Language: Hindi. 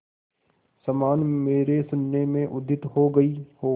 समान मेरे शून्य में उदित हो गई हो